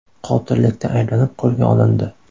qotillikda ayblanib qo‘lga olindi.